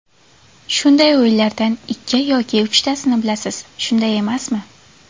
Shunday o‘yinlardan ikki yoki uchtasini bilasiz, shunday emasmi?